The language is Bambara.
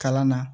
Kalan na